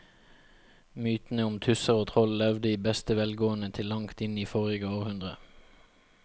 Mytene om tusser og troll levde i beste velgående til langt inn i forrige århundre.